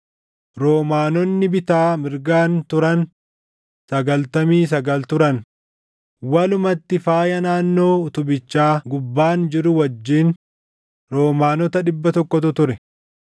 Roomaanoonni bitaa mirgaan turan sagaltamii sagal turan; walumatti faaya naannoo utubichaa gubbaan jiru wajjin roomanoota dhibba tokkootu ture.